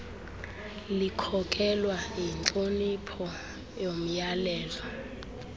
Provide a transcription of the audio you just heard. likhokelwa yintlonipho yomyalelo